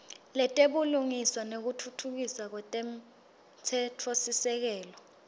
letebulungiswa nekutfutfukiswa kwemtsetfosisekelo